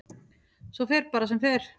Svo fer bara sem fer.